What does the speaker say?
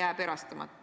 jääb erastamata.